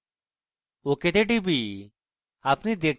ok তে টিপি